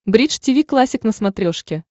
бридж тиви классик на смотрешке